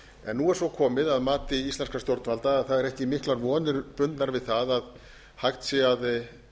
en nú er svo komið að mati íslenskra stjórnvalda að það eru ekki miklar vonir bundnar við það að hægt sé að